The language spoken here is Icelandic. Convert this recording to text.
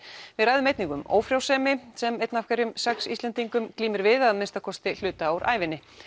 við ræðum einnig um ófrjósemi sem eitt af hverjum sex Íslendingum glímir við að minnsta kosti hluta úr ævinni